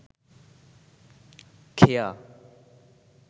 খেয়া